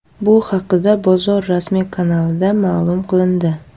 Bu haqda bozor rasmiy kanalida ma’lum qilindi .